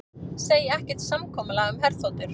Segja ekkert samkomulag um herþotur